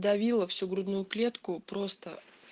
давила всю грудную клетку просто